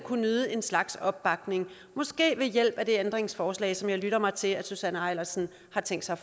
nyde en slags opbakning måske ved hjælp af det ændringsforslag som jeg lytter mig til at fru susanne eilersen har tænkt sig